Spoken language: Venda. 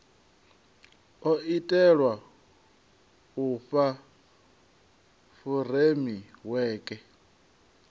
o itelwa u fha furemiweke